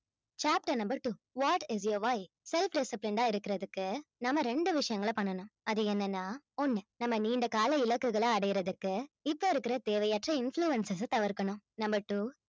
chapter number two what is self disciplined ஆ இருக்கிறதுக்கு நாம ரெண்டு விஷயங்களை பண்ணணும் அது என்னன்னா ஒண்ணு நம்ம நீண்ட கால இலக்குகளை அடையிறதுக்கு இப்ப இருக்கிற தேவையற்ற influences அ தவிர்க்கணும் number two